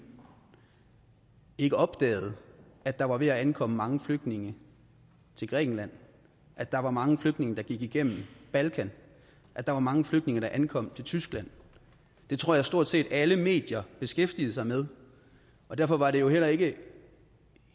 ikke opdagede at der var ved at ankomme mange flygtninge til grækenland at der var mange flygtninge der gik igennem balkan at der var mange flygtninge der ankom til tyskland det tror jeg stort set alle medier beskæftigede sig med og derfor var det jo heller ikke